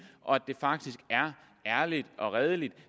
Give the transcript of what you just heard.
og at det faktisk er ærlig og redelig